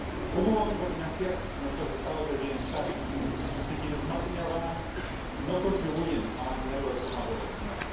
¿Cómo vamos a financiar nuestros Estados del bienestar, si quienes más dinero ganan no contribuyen a mantenerlo de forma proporcional?